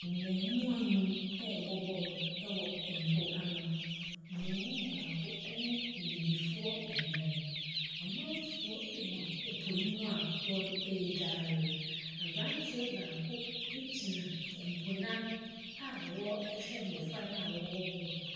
Mmaamua nnum rebɔ bɔɔlo wɔ mpoano. Buroni baako ne abibifoɔ nnan. Amanfoɔ gu po no mu a wɔredware. Aberanteɛ baako gyina po no ano a wɔrehwɛ mmɔfra no a wɔrebɔ bɔɔlo no.